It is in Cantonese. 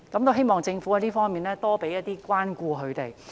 我希望政府會多給他們一些關顧。